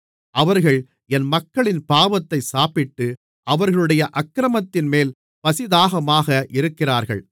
அவர்கள் என் மக்களின் பாவத்தைச் சாப்பிட்டு அவர்களுடைய அக்கிரமத்தின்மேல் பசிதாகமாக இருக்கிறார்கள்